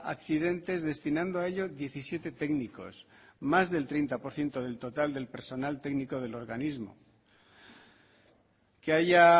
accidentes destinando a ello diecisiete técnicos más del treinta por ciento del total del personal técnico del organismo que haya